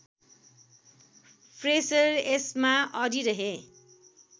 Fraser यसमा अडिरहे